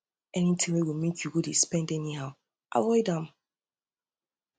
anytin wey go mek yu go um yu go um dey spend anyhow avoid am